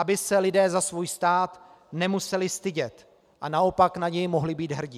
Aby se lidé za svůj stát nemuseli stydět, a naopak na něj mohli být hrdi.